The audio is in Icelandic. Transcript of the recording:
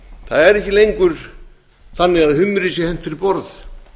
það er ekki lengur þannig að humri sé hent fyrir borð